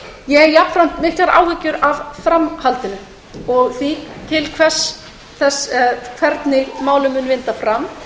ég hef jafnframt miklar áhyggjur af framhaldinu af því hvernig málinu mun vinda fram